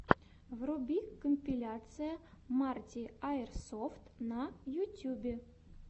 вруби компиляция марти аирсофт на ютьюбе